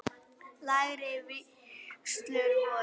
Lægri vígslur voru